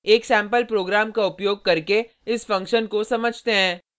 एक sample program का उपयोग करके इस फंक्शन को समझते हैं